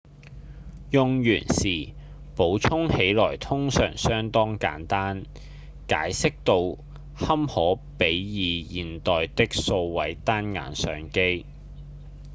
用完時補充起來通常相當簡單解析度堪可比擬現代的數位單眼相機